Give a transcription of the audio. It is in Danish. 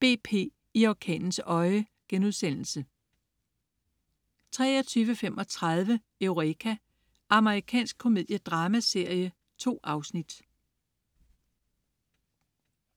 BP. I orkanens øje* 23.35 Eureka. Amerikansk komediedramaserie. 2 afsnit